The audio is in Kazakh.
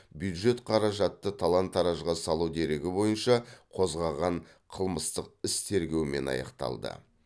бюджет қаражатты талан таражға салу дерегі бойынша қозғаған қылмыстық іс тергеумен аяқталған